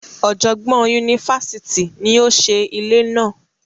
Ọjọgbọn yunifásítì ní o ṣe ilé náà.